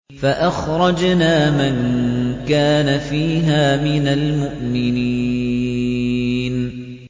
فَأَخْرَجْنَا مَن كَانَ فِيهَا مِنَ الْمُؤْمِنِينَ